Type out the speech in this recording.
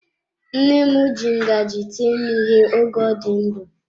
Nne m ji ngaji tie m ihe oge ọ dị ndụ.